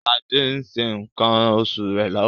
Ṣadė ń ṣe nǹkan oṣù rẹ̀ lọ́wọ́.